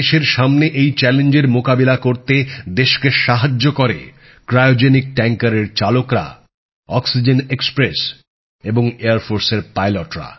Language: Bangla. দেশের সামনে এই চ্যালেঞ্জের মোকাবিলা করতে দেশকে সাহায্য করে ক্রায়োজেনিক ট্যাঙ্কারের চালকরা অক্সিজেন এক্সপ্রেস এবং বিমান বাহিনীর পাইলটরা